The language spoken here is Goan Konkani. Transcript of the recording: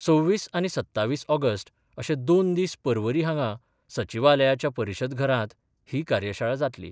सव्वीस आनी सत्तावीस ऑगस्ट अशे दोन दीस परवरी हांगा सचिवालयाच्या परिशद घरांत ही कार्यशाळा जातली.